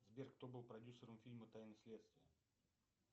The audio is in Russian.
сбер кто был продюсером фильма тайны следствия